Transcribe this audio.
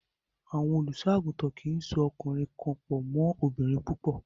Àwọn olùṣọ́-àgùntàn kì í so ọkùnrin kan pọ̀ mọ́ obìnrin púpọ̀.